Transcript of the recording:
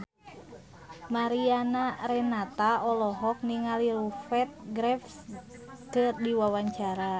Mariana Renata olohok ningali Rupert Graves keur diwawancara